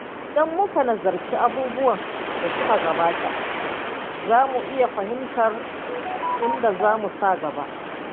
Idan muka nazarci abubuwan da suka gabata, za mu iya fahimtar inda zamu sa gaba.